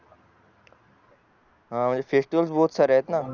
हा FESTIVAL BOTH सारे आहेत ना